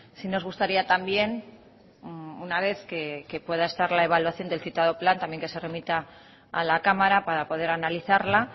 si nos gustaría también una vez que pueda estar la evaluación del citado plan también que se remita a la cámara para poder analizarla